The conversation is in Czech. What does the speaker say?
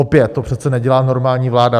Opět - to přece nedělá normální vláda.